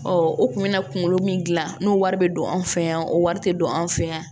u kun bɛ na kunkolo min gilan n'o wari bɛ don an fɛ yan o wari tɛ don an fɛ yan